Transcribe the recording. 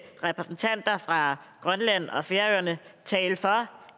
repræsentanter fra grønland og færøerne tale for